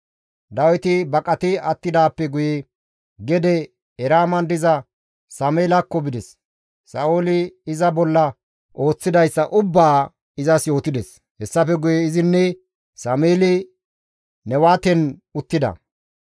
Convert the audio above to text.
Dawiti baqati attidaappe guye gede Eraaman diza Sameelakko bides; Sa7ooli iza bolla ooththidayssa ubbaa izas yootides. Hessafe guye izinne Sameeli Newaten uttida.